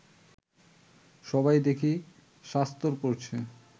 সবাই দেখি শাস্তর পড়ছে